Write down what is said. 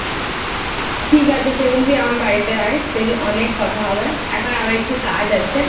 ঠিক আছে সেদিন তুই আমার বাড়িতে আয় সেদিন অনেক কথা হবে এখন একটু কাজ আছে টাটা,